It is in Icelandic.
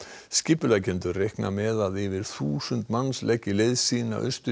skipuleggjendur reikna með að yfir þúsund manns leggi leið sína austur